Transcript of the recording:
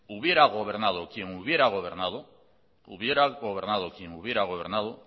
hubiera gobernado quien hubiera gobernado hubiera gobernado quien hubiera gobernado